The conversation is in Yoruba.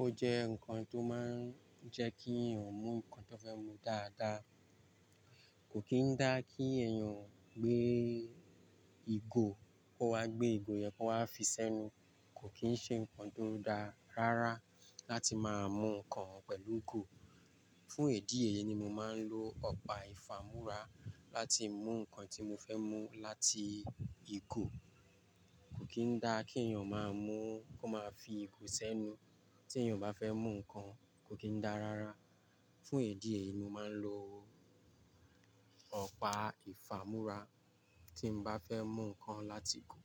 Ó jẹ́ nǹkan tó máa ń jẹ́ kí èèyàn mú nǹkan tó fẹ́ mú dáadáa. Kò kín dá kí èèyàn gbé ìgò, kó wá gbé ìgò yen kó wá fi sẹ́nu. Kò kín ṣe nǹkan tó dá rárá láti máa mú nǹkan pẹ̀lú ìgò. Fún èdi eyi ni mo máa ń lo ọ̀pá ìfàmúrà láti mú nǹkan tí mo fẹ́ mú láti ìgò. Kò kín dá kí èèyàn máa mú kó máa fi ìgò sẹ́nu tí èèyàn bá fẹ́ mú nǹkan, kò kín dá rárá. Fún èdíè ni mo máa ń lo ọ̀pá ìfàmúrà tí mo bá fẹ́ mú nǹkan láti ìgò.